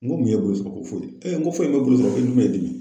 N ko mun ye bolo sɔrɔ, ko foyi, n ko foyi me bolo